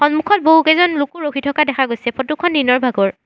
সন্মুখত বহুকেইজন লোকো ৰখি থাকা দেখা গৈছে ফটো খন নিজৰ ভাগৰ।